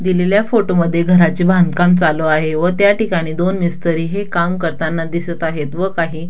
दिलेल्या फोटो मध्ये घराचे बांधकाम चालू आहे व त्या ठिकाणी दोन मिस्त्री हे काम करताना दिसत आहेत व काही--